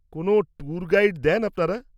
-কোনও tour guide দেন আপনারা?